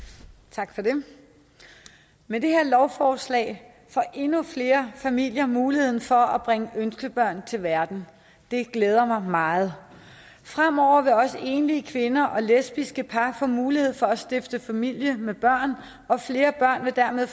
tak for det med det her lovforslag får endnu flere familier mulighed for at bringe ønskebørn til verden det glæder mig meget fremover vil også enlige kvinder og lesbiske par få mulighed for at stifte familie med børn og flere børn får dermed